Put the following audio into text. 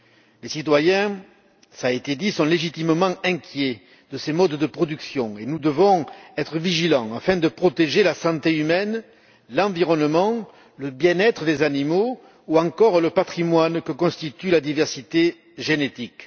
Les citoyens cela a été dit sont légitimement inquiets de ces modes de production. Nous devons être vigilants afin de protéger la santé humaine, l'environnement, le bien être des animaux ou encore le patrimoine que constitue la diversité génétique.